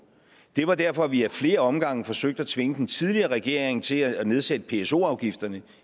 det var derfor at vi ad flere omgange forsøgte at tvinge den tidligere regering til at nedsætte pso afgifterne